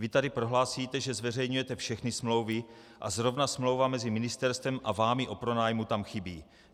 Vy tady prohlásíte, že zveřejňujete všechny smlouvy, a zrovna smlouva mezi ministerstvem a vámi o pronájmu tam chybí.